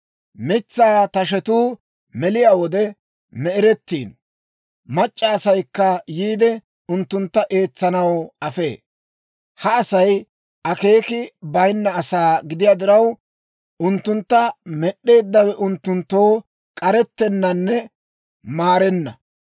Mitsaa tashetuu meliyaa wode me'erettiino; mac'c'a asaykka yiide, unttuntta eetsanaw afee. Ha Asay akeeki bayinna asaa gidiyaa diraw, unttuntta Med'd'eeddawe unttunttoo k'arettennanne maarenna.